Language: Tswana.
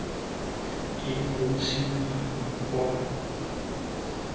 e bontshiwang ka palo e